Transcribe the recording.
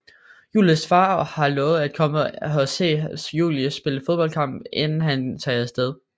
Julies far har lovet at komme og se Julie spille fodboldkamp inden han tager afsted